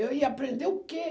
Eu ia aprender o quê?